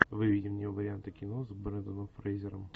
выведи мне варианты кино с бренданом фрейзером